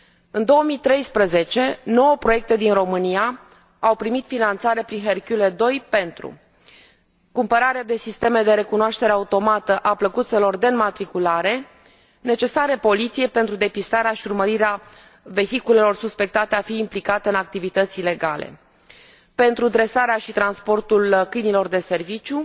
În 2013, nouă proiecte din România au primit finanțare prin Hercule II pentru cumpărarea de sisteme de recunoaștere automată a plăcuțelor de înmatriculare, necesare Poliției pentru depistarea și urmărirea vehiculelor suspectate a fi implicate în activități ilegale, pentru dresarea și transportul câinilor de serviciu,